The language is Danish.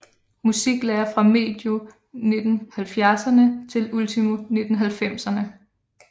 Musiklærer fra medio 1970erne til ultimo 1990erne